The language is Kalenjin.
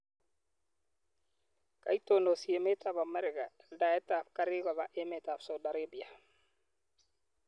Koitonosi emet ab America aldaet ab karik kopa emet ab Saudi Arabia.